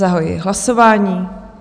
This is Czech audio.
Zahajuji hlasování.